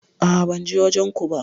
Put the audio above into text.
A'a ban je wajen ko ba.